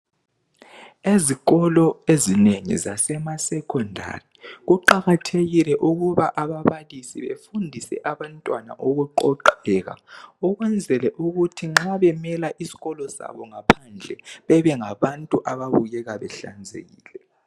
Ezikolo ezinengi zase masecondary kuqakathekile ukuba ababalisi befundise abantwana ukuqoqeka ukwenzela ukuthi nxa bemela iskolo sabo ngaphandle bebe ngabantu ababukeka behlanzekile.